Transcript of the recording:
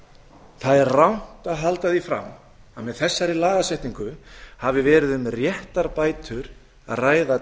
tíu það er rangt að halda því fram að með þessari lagasetningu hafi verið um réttarbætur að ræða